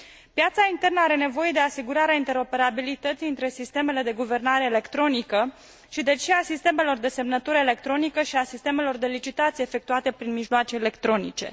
Piața internă are nevoie de asigurarea interoperabilității între sistemele de guvernare electronică și, deci, și a sistemelor de semnătură electronică și a sistemelor de licitații efectuate prin mijloace electronice.